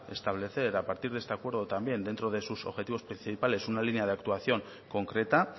establecer a partir de este acuerdo dentro de sus objetivos principales una línea de actuación concreta